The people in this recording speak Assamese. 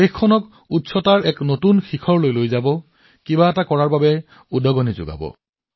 দেশখনক এক নতুন উচ্চতালৈ লৈ যাব কিবা এটা নতুন কৰাৰ বাবে এক আবেগ সৃষ্টি কৰিব